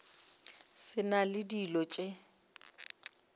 sa na le dilo tše